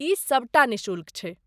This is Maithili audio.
ई सबटा निःशुल्क छै।